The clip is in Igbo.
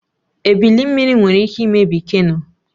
Ebili mmiri nwere ike imebi keno